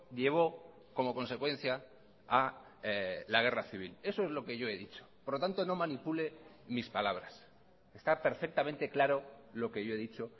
llevó como consecuencia a la guerra civil eso es lo que yo he dicho por lo tanto no manipule mis palabras está perfectamente claro lo que yo he dicho